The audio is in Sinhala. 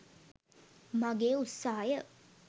මගේ උත්සාහය